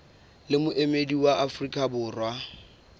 le moemedi wa afrika borwa